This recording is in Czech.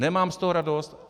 Nemám z toho radost.